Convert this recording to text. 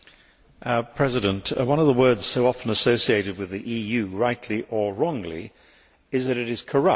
Mr President, one of the words so often associated with the EU, rightly or wrongly, is that it is corrupt.